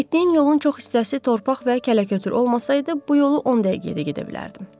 Getdiyim yolun çox hissəsi torpaq və kələkötür olmasaydı, bu yolu 10 dəqiqəyə də gedə bilərdim.